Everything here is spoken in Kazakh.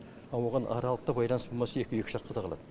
а оған аралықта байланыс болмаса екеуі екі жаққа қалады